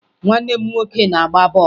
Nwanne m nwoke na-agba ball